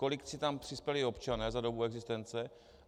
Kolik si tam přispěli občané za dobu existence?